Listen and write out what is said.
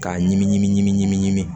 K'a ɲimi ɲimi ɲimi ɲimi ɲimi